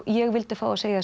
ég vildi fá að segja